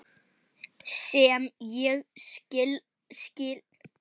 Sem ég skil alveg.